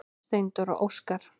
Steindór og Óskar.